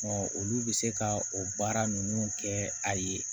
olu bɛ se ka o baara ninnu kɛ a ye